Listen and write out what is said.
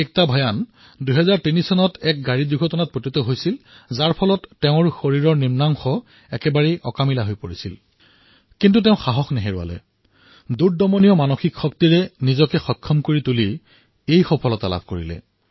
একতা ভয়ানৰ ২০০৩ চনত পথ দূৰ্ঘটনাত তেওঁৰ শৰীৰৰ নিম্নভাগ কাম নকৰা হৈ পৰিছিল কিন্তু সেই কন্যাই সাহস নেহেৰুৱাই নিজকে শক্তিশালী কৰি এই ফলাফল প্ৰাপ্ত কৰিলে